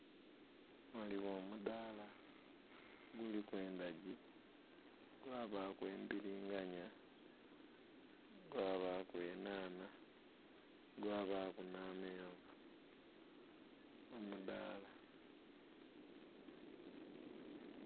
Ghaligho omudhala giliku endhagi, gwa bali embiliganhya, gwa bali enhanha, gwa baku nha menvu omudhala.